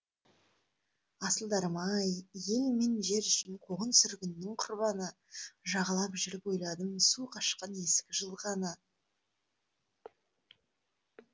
асылдарым ай ел мен жер үшін қуғын сүргіннің құрбаны жағалап жүріп ойладым су қашқан ескі жылғаны